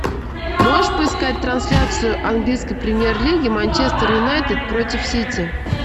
можешь поискать трансляцию английской премьер лиги манчестер юнайтед против сити